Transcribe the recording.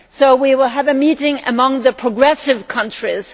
We will have a meeting of the progressive countries.